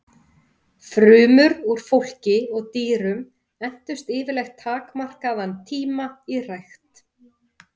Frumur úr fólki og dýrum entust yfirleitt takmarkaðan tíma í rækt.